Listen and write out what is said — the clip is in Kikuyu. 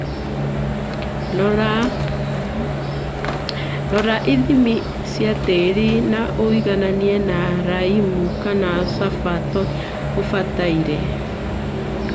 Rora ithimi cia tĩri na ũigananie na laimu kana sulfur toria gũbataire